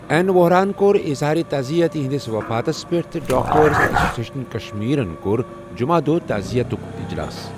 N وۄہراہَن کۄٚر اظہارِ تٕعزیٖعَت یہنٛدِس وفاتَس پؠٹھ تٕہ ڈاکٹرس ایٚسوسِییشن کشمیرن کوٚر جمعہ دۄہ تٕعزیٖعَتُک اِجلاَس۔